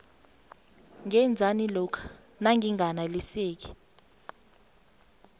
ngenzani lokha nanginganeliseki